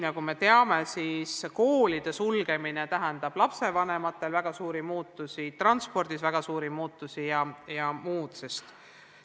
Nagu me teame, tähendas koolide sulgemine lapsevanematele väga suuri muutusi, nii transpordis kui ka muus.